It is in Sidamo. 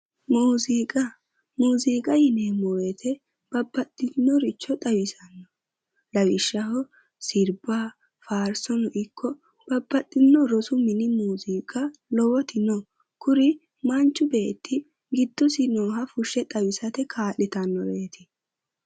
muziiqa yineemmo weete babaxittinoricho xawisanno lawishshaho siriba faarisono iko babax rosu mine lowoti no kuri manchi beeti gidosi nooha fushshate kaa'litannoreetti